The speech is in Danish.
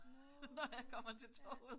Nåh ja